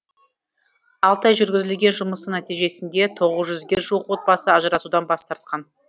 алты ай жүргізілген жұмыстың нәтижесінде тоғыз жүзге жуық отбасы ажырасудан бас тартқан